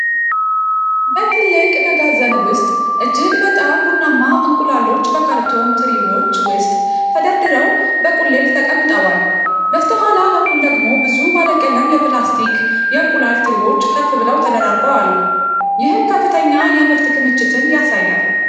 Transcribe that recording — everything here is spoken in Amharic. በትልቅ መጋዘን ውስጥ እጅግ በጣም ብዙ ቡናማ እንቁላሎች በካርቶን ትሪዎች ውስጥ ተደርድረው በቁልል ተቀምጠዋል። በስተኋላ በኩል ደግሞ ብዙ ባለቀለም የፕላስቲክ የእንቁላል ትሪዎች ከፍ ብለው ተደራርበው አሉ፤ ይህም ከፍተኛ የምርት ክምችት ያሳያል።